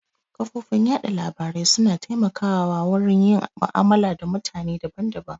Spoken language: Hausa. Kafofin yaɗa labarai su na taimaka wa wurin yin mu'amala da mutane daban daban